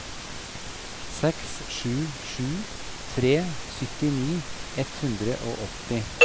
seks sju sju tre syttini ett hundre og åtti